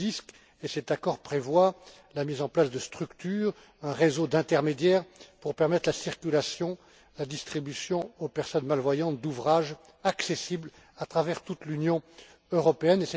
2010. Et cet accord prévoit la mise en place de structures, un réseau d'intermédiaires pour permettre la circulation, la distribution aux personnes malvoyantes d'ouvrages accessibles à travers toute l'Union européenne.